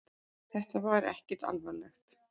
Þetta var ekkert alvarlegt